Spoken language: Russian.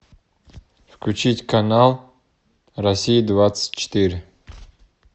включить канал россия двадцать четыре